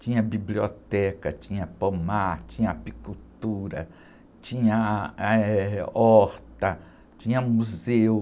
Tinha biblioteca, tinha pomar, tinha apicultura, tinha, ah, eh, horta, tinha museu.